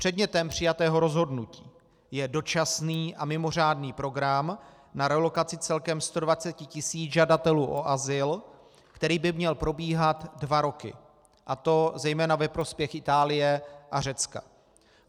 Předmětem přijatého rozhodnutí je dočasný a mimořádný program na relokaci celkem 120 tis. žadatelů o azyl, který by měl probíhat dva roky, a to zejména ve prospěch Itálie a Řecka.